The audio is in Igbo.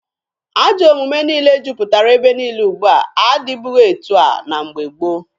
Ajọ omume niile juputara ebe niile ugbua adịbughị etu a na mgbe gboo.